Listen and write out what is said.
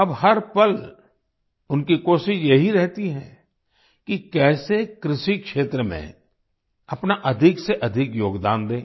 अब हर पल उनकी कोशिश यही रहती है कि कैसे कृषि क्षेत्र में अपना अधिक से अधिक योगदान दें